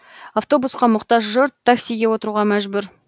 автобусқа мұқтаж жұрт таксиге отыруға мәжбүр